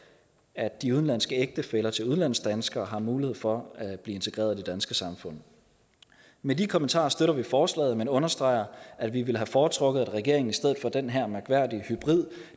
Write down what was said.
at de udenlandske ægtefæller til udlandsdanskere har mulighed for at blive integreret i det danske samfund med de kommentarer støtter vi forslaget men understreger at vi ville have foretrukket at regeringen i stedet for at den her mærkværdige hybrid